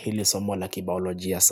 hili somo la kibaolojia sana.